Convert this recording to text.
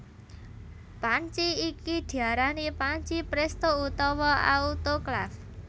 Panci iki diarani panci prèsto utawa autoklaf